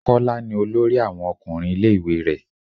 Kọ́lá ni olórí àwọn ọkùnrin ilé ìwé rẹ.